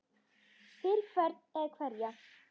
Fyrir hvern eða hverja?